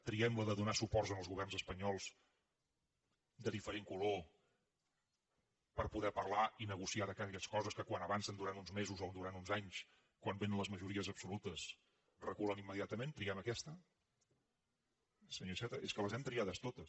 triem la de donar suports als governs espanyols de diferent color per poder parlar i negociar aquelles coses que quan avancen durant uns mesos o durant uns anys quan vénen les majories absolutes reculen immediatament triem aquesta senyor iceta és que les hem triades totes